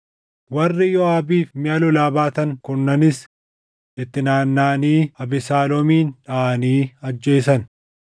Warri Yooʼaabiif miʼa lolaa baatan kurnanis itti naannaʼanii Abesaaloomin dhaʼanii ajjeesan.